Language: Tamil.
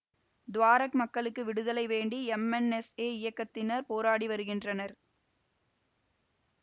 துவாரெக் மக்களுக்கு விடுதலை வேண்டி எம்என்எல்ஏ இயக்கத்தினர் போராடி வருகின்றனர்